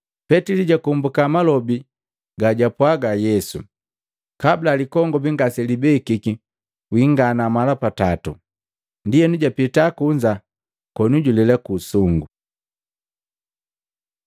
Petili jakombuka malobi gajwapwaga Yesu, “Kabula likongobi ngaselibekiki wingana mala pa tato.” Ndienu japita kunza koni julela ku usungu.